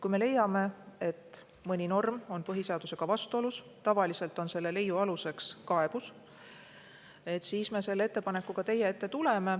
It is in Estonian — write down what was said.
Kui me leiame, et mõni norm on põhiseadusega vastuolus – tavaliselt on selle leiu aluseks kaebus –, siis ma ettepanekuga teie ette tulen.